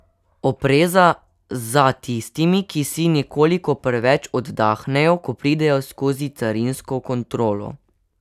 Opreza za tistimi, ki si nekoliko preveč oddahnejo, ko pridejo skozi carinsko kontrolo.